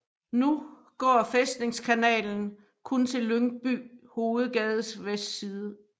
Nu går Fæstningskanalen kun til Lyngby Hovedgades vestside